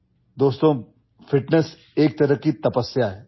বন্ধুসকল ফিটনেছ এটা সাধনা